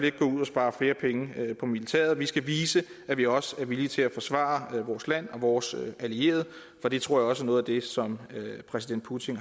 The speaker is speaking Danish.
ikke gå ud og spare flere penge på militæret vi skal vise at vi også er villige til at forsvare vores land og vores allierede for det tror jeg også er noget af det som præsident putin